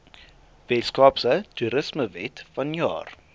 weskaapse toerismewet vanjaar